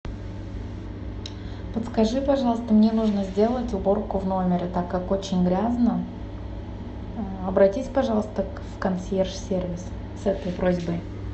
подскажи пожалуйста мне нужно сделать уборку в номере так как очень грязно обратись пожалуйста в консьерж сервис с этой просьбой